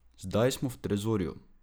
Zdaj smo v trezorju!